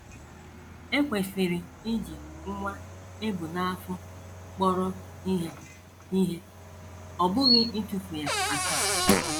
E kwesịrị iji nwa e bu n’afọ kpọrọ ihe ihe, ọ bụghị ịtụfu ya atụfu